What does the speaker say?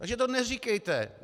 Takže to neříkejte.